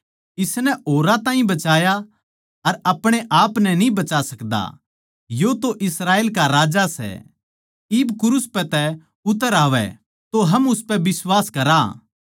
इसनै औरां ताहीं बचाया अर अपणे आपनै न्ही बचा सकदा यो तो इस्राएल का राजा सै इब क्रूस पै तै उतर आवै तो हम उसपै बिश्वास करया